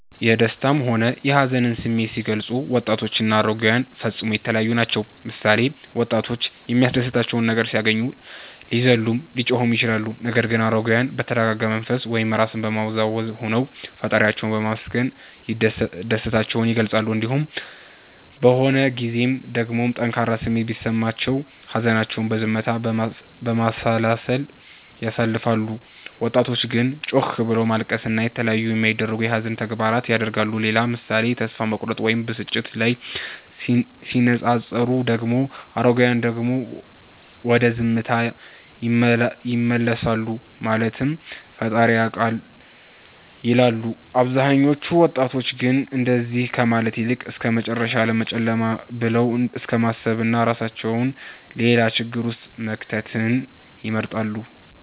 የደሰታም ሆነ የሀዘንን ስሜት ሲገልፁ ወጣቶችና አረጋዉያን ፈፅሞ የተለያዪ ናቸዉ ምሳሌ፦ ወጣቶች የሚያስደስታቸው ነገር ሲያገኙ ሊዘሉም ሊጮሁም ይችላሉ ነገር ግን አረጋዉያን በተረጋጋ መንፈስ (ራስን በማዉዛት) ሆነዉ ፈጣሪያቸዉን በማመስገን ደስታቸዉን ይገልፃሉ። እንዲሁም በሆን ጊዜም ደግሞ ጠንካራ ስሜት ቢሰማቸውም ሀዘናቸዉን በዝምታ፣ በማሰላሰል ያሳልፋሉ ወጣቶች ግን ጮክ ብሎት ማልቀስን እና የተለያዩ የማይደረጉ የሀዘን ላይ ተግባራት ያደርጋሉ። ሌላ ምሳሌ ተስፋ መቁረጥ ወይም ብስጭት ላይ ሲነፃፀሩ ደግሞ አረጋዉያን ወደ ዝምታ ይመለሳሉ ማለትም ፈጣሪዬ ያዉቃል ይላሉ አብዛኞቹ ወጣቶች ግን እንደዚ ከማለት ይልቅ እስከመጨረሻዉ ዓለም ጨለማ ብለዉ እስከማሰብና እራሳቸዉን ሌላ ችግር ዉስጥ መክተትን ይመርጣሉ